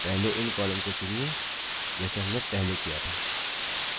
तो पहले इन columns को चुनिए जैसे हमने पहले किया था